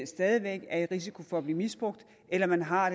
stadig væk er i risiko for at blive misbrugt eller at man har